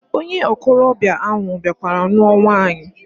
Onye okolobia ahu biakwara ruo nwaanyi.